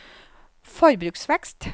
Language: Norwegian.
forbruksvekst